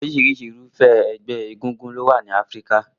Oríṣiríṣi Irúfẹ́ ẹgbẹ́ égúngún ló wà ní Áfíríkà